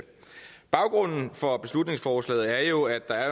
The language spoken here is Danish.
baggrunden for beslutningsforslaget er jo at der